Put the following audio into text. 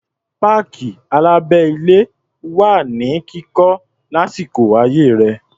Páàkì alábẹ́-ilé wà ní kíkọ́ lásìkò ayé rẹ̀.